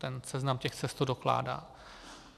Ten seznam těch cest to dokládá.